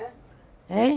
Hein?